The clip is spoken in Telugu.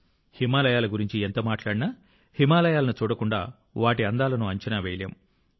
హిమాలయాల గురించి ఎంత మాట్లాడినా హిమాలయాలను చూడకుండా వాటి అందాలను అంచనా వేయలేం